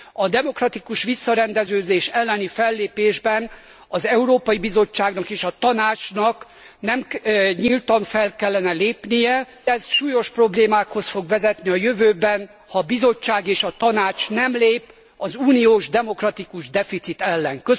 A demokratikus visszarendeződés elleni fellépésben az Európai Bizottságnak és a Tanácsnak nyíltan fel kellene lépnie, mindez súlyos problémákhoz fog vezetni a jövőben, ha a Bizottság és a Tanács nem lép az uniós demokratikus deficit ellen.